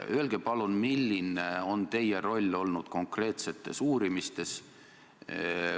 Öelge palun, milline on olnud teie roll konkreetses uurimises.